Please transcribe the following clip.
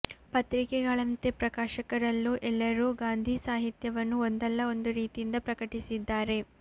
ಪತ್ರಿಕೆಗಳಂತೆ ಪ್ರಕಾಶಕರಲ್ಲೂ ಎಲ್ಲರೂ ಗಾಂಧೀ ಸಾಹಿತ್ಯವನ್ನು ಒಂದಲ್ಲ ಒಂದು ರೀತಿಯಿಂದ ಪ್ರಕಟಿಸಿದ್ದಾರೆ